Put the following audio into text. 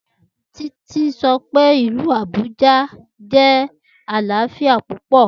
Titi sọ pe olú ìlú Abuja jẹ alaafia pupọ.